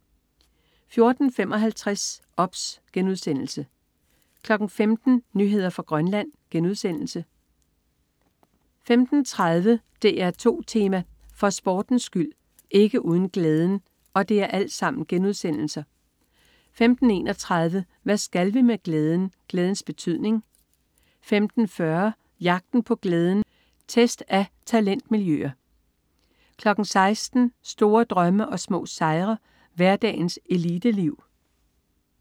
14.55 OBS* 15.00 Nyheder fra Grønland* 15.30 DR2 Tema: For sportens skyld: ikke uden glæden* 15.31 Hvad skal vi med glæden? Glædens betydning* 15.40 Jagten på glæden, test af talentmiljøer* 16.00 Store drømme og små sejre. Hverdagens eliteliv*